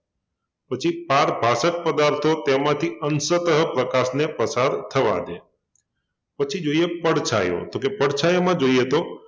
પછી પારભાસક પદાર્થો તેમાંથી અંંશતઃ પ્રકાશને પસાર થવા દે પછી જોઈએ પડછાયો તો કે પડછાયામાં જોઈએ તો